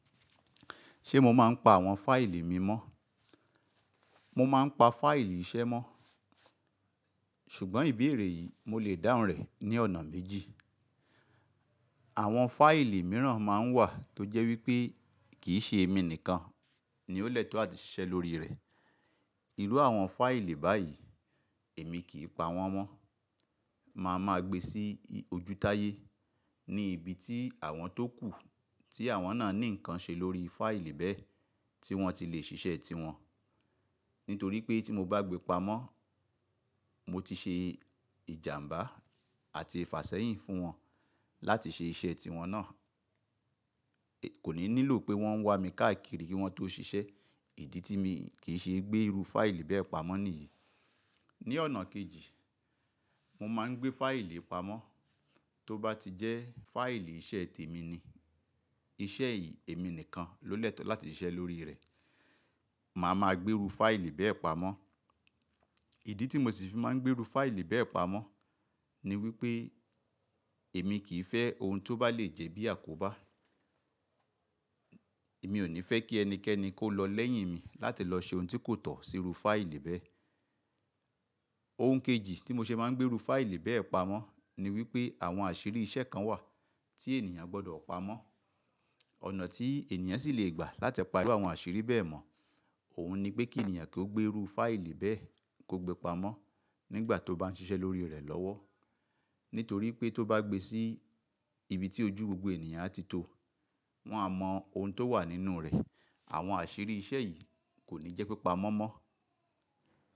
Ṣé mo máa ń pa àwọn fáìlì mi mọ́? Mo máa ń pa fáìlì iṣẹ́ mọ́. Ṣùgbọ́n ìbéèrè yìí mo lè dáhùn rẹ̀ ní ọ̀nà méjì. Àwọn fáìlì mìíràn máa ń wà tó jẹ́ wípé kì í ṣe èmi nìkan ni ó lẹ́tọ̀ọ́ àti ṣiṣẹ́ lórí rẹ̀. Irú àwọn fáìlì báyìí èmi kì í pa wọ́n mọ́. Màá ma gbe sí ojútáyé ní ibi tí àwọn tókù tí àwọn náà ní nǹkan ṣe lórí fáìlì bẹ́ẹ̀ tí wọ́n ti lè ṣiṣẹ́ ti wọn. Nítorí pé tí mo bá gbé pa mọ́, mo ti ṣe ìjàǹbá àti ìfàsẹ́yìn fún wọn láti ṣe iṣẹ́ ti wọn náà. Kò ní nílò pé wọ́n wá mi káàkiri kí wọ́n tó ṣiṣẹ́. Ìdí tí mi kì í se gbé irú fáìlì bẹ́ẹ̀ pamọ́ nìyí. Ni ọ̀nà kejì, mo máa ń gbé fáìlì pamọ́ tó bá ti jẹ́ fáìlì iṣẹ́ temí ni. Iṣẹ́ yìí èmi nìkan ló lẹ́tọ̀ọ́ láti ṣiṣẹ́ lórí rẹ̀. Màá ma gbé irú fáìlì bẹ́ẹ̀ pamọ́. Ìdí tí mo sì fi máa ń gbé irú fáìlì bẹ́ẹ̀ pamọ́ ni wípé èmi kì í fẹ́ ohun tó bá le jẹ́ bí àkóbá. Èmi ò ní fẹ́ kí ẹnikẹ́ni kó lọ lẹ́yìn mi láti lọ ṣe ohun tí kò tọ̀ sí irú fáìlì bẹ́ẹ̀. Ohun kejì tí mo ṣe máa ń gbé irú fáìlì bẹ́ẹ̀ pamọ́ ni wípé àwọn àṣírí iṣẹ́ kan wà tí ènìyàn gbọdọ̀ pamọ́. Ọ̀nà tí ènìyàn sì lè gbà láti pà iru àwọn àṣírí bẹ́ẹ̀ mọ̀, òun ni pé kí ènìyàn kó gbé irú fáìlì bẹ́ẹ̀ kó gbe pamọ́ nígbà tó bá ń ṣiṣẹ́ lórí rẹ̀ lọ́wọ́. Nítorí pé tó bá gbe sí ibi tí ojú gbogbo ènìyàn á ti tó, wọ́n á mọ ohun tó wà nínú rẹ̀. Àwọn àṣírí iṣẹ́ yìí kò ní jẹ́ pé pamọ́ mọ́.